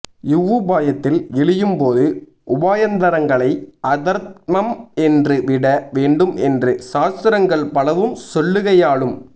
இவ்வுபாயத்தில் இழியும் போது உபாயாந்தரங்களை அதர்மம் என்று விட வேண்டும் என்று சாஸ்திரங்கள் பலவும் சொல்லுகையாலும்